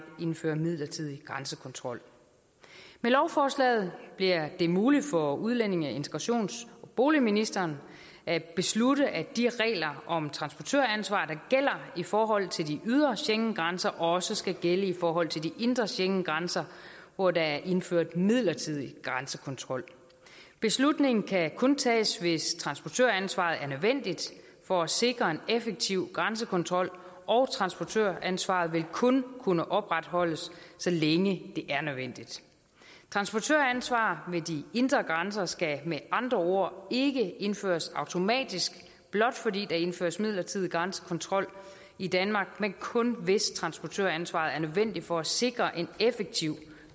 indfører midlertidig grænsekontrol med lovforslaget bliver det muligt for udlændinge integrations og boligministeren at beslutte at de regler om transportøransvar der gælder i forhold til de ydre schengengrænser også skal gælde i forhold til de indre schengengrænser hvor der er indført midlertidig grænsekontrol beslutningen kan kun tages hvis transportøransvaret er nødvendigt for at sikre en effektiv grænsekontrol og transportøransvaret vil kun kunne opretholdes så længe det er nødvendigt transportøransvar ved de indre grænser skal med andre ord ikke indføres automatisk blot fordi der indføres midlertidig grænsekontrol i danmark men kun hvis transportøransvaret er nødvendigt for at sikre en effektiv